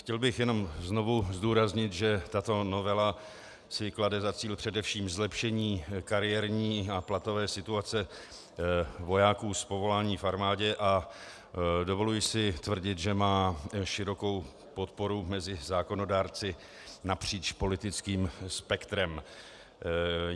Chtěl bych jenom znovu zdůraznit, že tato novela si klade za cíl především zlepšení kariérní a platové situace vojáků z povolání v armádě, a dovoluji si tvrdit, že má širokou podporu mezi zákonodárci napříč politickým spektrem.